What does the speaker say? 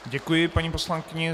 Děkuji, paní poslankyně.